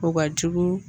O ka jugu